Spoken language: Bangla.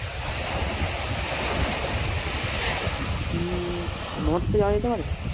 হম north এ যাওয়া যেতে পারে?